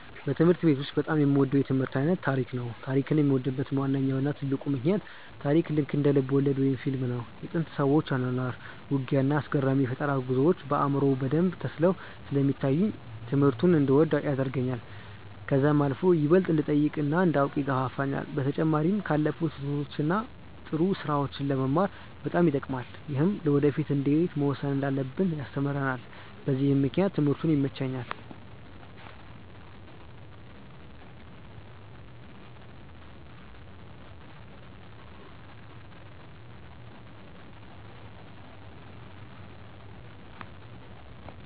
በትምህርት ቤት ውስጥ በጣም የምወደው የትምህርት አይነት ታሪክ ነበር። ታሪክን የምወድበት ዋነኛው እና ትልቁ ምክንያት ታሪክ ልክ እንደ ልብወለድ ወይም ፊልም ነው። የጥንት ሰዎች አኗኗር፣ ውጊያ፣ እና አስገራሚ የፈጠራ ጉዞዎች በአእምሮዬ በደንብ ተስለው ስለሚታዩኝ ትምህርቱን እንድወደው ያደርገኛል። ከዛም አልፎ ይበልጥ እንድጠይቅ እና እንዳውቅ ይገፋፋኛል። በተጨማሪም ካለፉት ስህተቶች እና ጥሩ ስራዎች ለመማር በጣም ይጠቅማል። ይህም ለወደፊ እንዴት መወሰን እንዳለብን ያስተምረናል በዚህም ምክንያት ትምህርቱ ይመቸኛል።